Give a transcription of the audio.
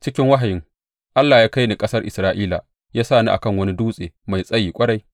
Cikin wahayin, Allah ya kai ni ƙasar Isra’ila ya sa ni a kan wani dutse mai tsayi ƙwarai,